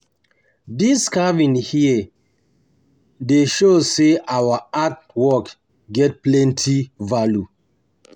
Dis carving here dey carving here dey show sey um our art work dem get plenty value